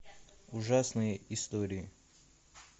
ужасные истории